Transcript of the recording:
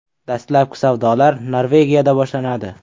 Dastlabki savdolar Norvegiyada boshlanadi.